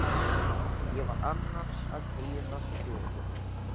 Ég var annars að heyra sögu.